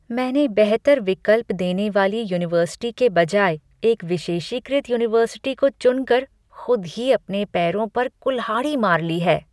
मैंने बेहतर विकल्प देने वाली यूनिवर्सिटी के बजाय एक विशेषीकृत यूनिवर्सिटी को चुनकर खुद ही अपने पैरों पर कुल्हाड़ी मार ली है।